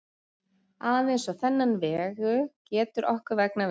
Aðeins á þennan vegu getur okkur vegnað vel.